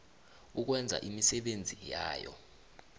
ukwenza imisebenzi yayo